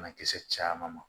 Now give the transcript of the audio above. Banakisɛ caman ma